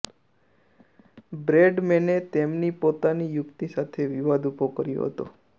બ્રેડમેને તેમની પોતાની યુક્તિ સાથે વિવાદ ઊભો કર્યો હતો